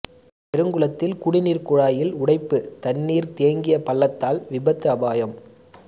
பெருங்குளத்தில் குடிநீர் குழாயில் உடைப்பு தண்ணீர் தேங்கிய பள்ளத்தால் விபத்து அபாயம்